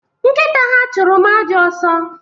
Nkita ha chụrụ m ajọ ọsọ